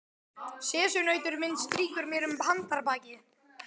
Sessunautur minn strýkur mér um handarbakið.